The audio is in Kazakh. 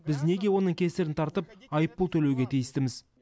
біз неге оның кесірін тартып айыппұл төлеуге тиістіміз